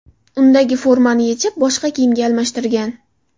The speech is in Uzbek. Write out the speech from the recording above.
Undagi formani yechib, boshqa kiyimga almashtirgan.